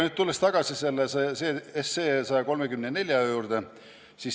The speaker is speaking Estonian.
Tulen tagasi eelnõu 134 juurde.